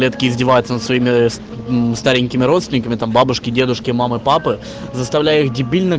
издеваются над своими старенькими родственниками там бабушки дедушки мамы папы заставляю